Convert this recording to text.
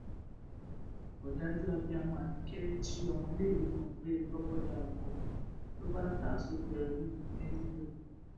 òdàjú abiyamọ abike jí ọmọléèwé kan gbé lọbọdàọkọ ló bá ta á sóko ẹrú ní libya